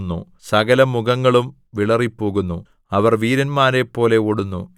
അവരുടെ മുമ്പിൽ ജനതകൾ നടുങ്ങുന്നു സകലമുഖങ്ങളും വിളറിപ്പോകുന്നു